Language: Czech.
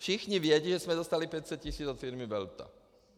Všichni vědí, že jsme dostali 500 tisíc od firmy Velta.